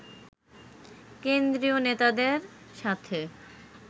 কেন্দ্রীয় নেতাদের সাথে